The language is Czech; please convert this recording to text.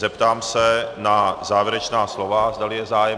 Zeptám se na závěrečná slova, zdali je zájem.